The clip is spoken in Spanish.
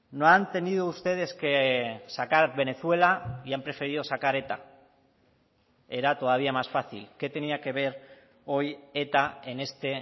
no han tenido ustedes que sacar venezuela y han preferido sacar eta era todavía más fácil qué tenía que ver hoy eta en este